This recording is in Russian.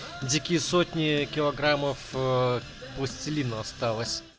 дикий сотни килограммов пластилина осталось